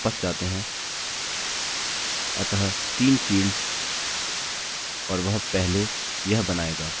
चलिए यहाँ वापस जाते हैं अतः 3 फील्ड्स और वह पहले यह बनायेगा